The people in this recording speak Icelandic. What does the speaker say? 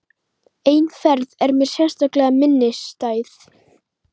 Ein ferð er mér sérstaklega minnisstæð.